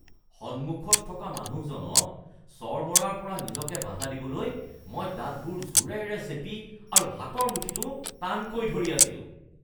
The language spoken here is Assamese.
সন্মুখত থকা মানুহজনক চৰ মৰাৰ পৰা নিজকে বাধা দিবলৈ মই দাঁতবোৰ জোৰেৰে চেপি আৰু হাতৰ মুঠিটো টানকৈ ধৰি আছিলোঁ